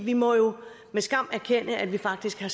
vi må jo med skam erkende at der faktisk har